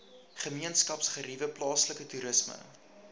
gemeenskapsgeriewe plaaslike toerisme